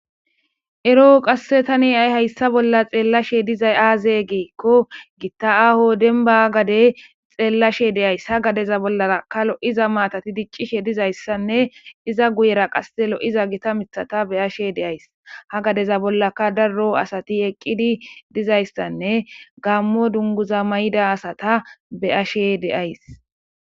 Eroo qasse tani ay hayssa bolla xeellashe dizay aaze geikko gitta aaho denba gade xeellashe deyays ha gadeza bollara kalo'iza maatati diccishe dizayssanne iza guyera qasse lo'iza gita mithata beyashe deays ha gadeza bollaka darro asati eqqidi dizayssanne gammo dunguza mayida asata beyashe deays.